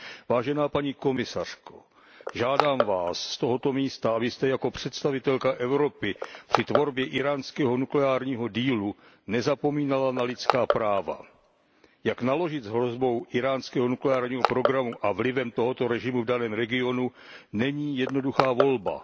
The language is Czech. Vážená paní komisařko, žádám Vás z tohoto místa, abyste jako představitelka Evropy při tvorbě íránského nukleárního dealu nezapomínala na lidská práva. Jak naložit s hrozbou íránského nukleárního programu a vlivem tohoto režimu v daném regionu není jednoduchá volba.